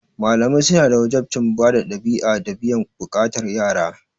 Malamai suna da wajabcin bada ɗabi'a da biyan buƙatar yara.